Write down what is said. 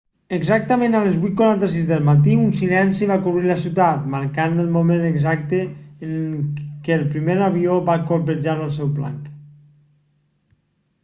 exactament a les 8:46 del matí un silenci va cobrir la ciutat marcant el moment exacte en què el primer avió va colpejar el seu blanc